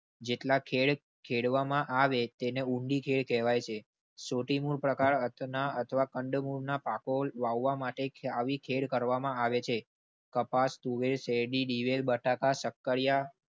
જેટલા ખેડ ખેડવા માં આવે તેને ઊંડી ખેળ કેહવાય છે. સોટી મૂળ પ્રકાર અથવા અંદ મૂળ ના પાકો વાવવા માટે આવી ખેળ કરવામાં આવે છે. કપાસ તુવેર શેરડી દીવેલ બટાકા શક્કરિયા